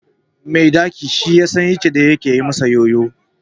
Mai daki shi yasan inda ke masa yoyo